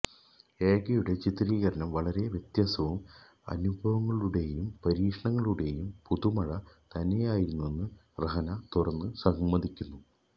ഏകയുടെ ചിത്രീകരണം വളരെ വ്യത്യസ്തവും അനുഭവങ്ങളുടെയും പരീക്ഷണങ്ങളുടെയും പുതുമഴ തന്നെയായിരുന്നെന്ന് രഹന തുറന്ന് സമ്മതിക്കുന്നു